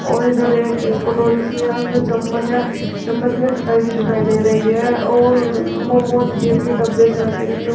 और इधर एक कटोरी सी है उसमें चम्मच है चम्मच में खटाई से दिखाई दे रही है और मोमोस के भी डब्बे से रखें जिसमें--